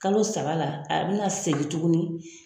Kalo saba la, a bɛna segin tuguni